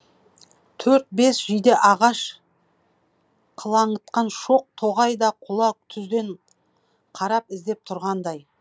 төрт бес жиде ағаш қылаңытқан шоқ тоғай да құла түзден қарап іздеп тұрғандай